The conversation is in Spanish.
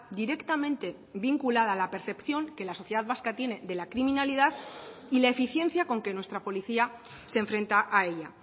directamente vinculada a la percepción que la sociedad vasca tiene de la criminalidad y la eficiencia con que nuestra policía se enfrenta a ella